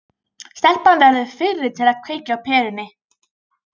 Stelpan verður fyrri til að kveikja á perunni.